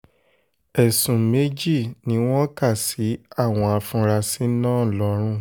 ẹ̀sùn méjì ni wọ́n kà sí àwọn afurasí náà lọ́rùn